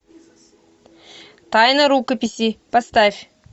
тайна рукописи поставь